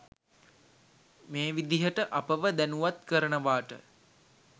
මේ විදිහට අපව දැනුවත් කරනවාට